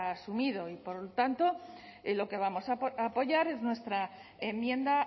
asumido y por lo tanto lo que vamos a apoyar es nuestra enmienda